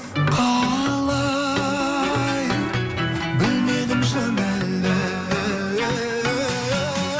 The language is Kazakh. қалай білмедім шын әлі